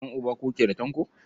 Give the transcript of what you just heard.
Ƴan'uba kuke da Tanko?